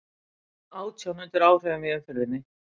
Átján undir áhrifum í umferðinni